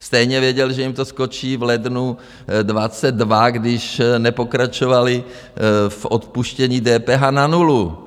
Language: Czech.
Stejně věděli, že jim to skočí v lednu 2022, když nepokračovali v odpuštění DPH na nulu.